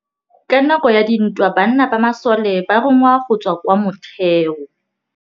Ka nakô ya dintwa banna ba masole ba rongwa go tswa kwa mothêô.